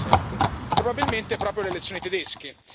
2017. Probabilmente proprio le elezioni tedesche.